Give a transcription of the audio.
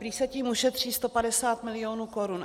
Prý se tím ušetří 150 milionů korun.